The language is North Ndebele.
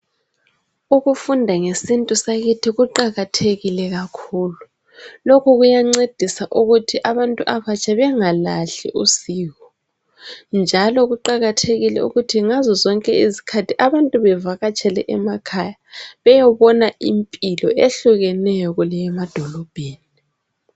Ukufunda ngesintu sakithi kuqakathekile kakhulu lokhu kuyancedisa ukuthi abantu abatsha bengalahli usiko. Njalo kuqakathekile ukuthi ngazo zonke izikhathi abantu bevakatshele emakhaya beyebona impilo ehlukeneyo kuleyemadolobheni.